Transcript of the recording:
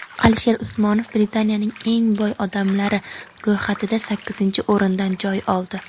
Alisher Usmonov Britaniyaning eng boy odamlari ro‘yxatida sakkizinchi o‘rindan joy oldi.